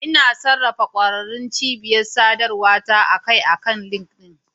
Ina sarrafa ƙwararrun cibiyar sadarwa ta a kai a kai akan LinkedIn.